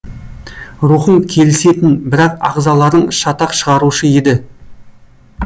рухың келісетін бірақ ағзаларың шатақ шығарушы еді